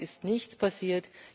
Seitdem ist nichts passiert.